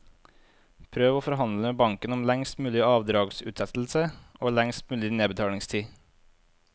Prøv å forhandle med banken om lengst mulig avdragsutsettelse og lengst mulig nedbetalingstid.